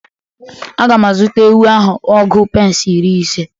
Aga m azụta ewu ahụ ọgu pence iri ise